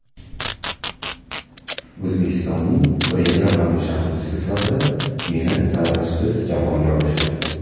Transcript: O‘zbekistoning birinchi raqamli shaxmatchisi sifatida meni saralashsiz jamoaga olishgan.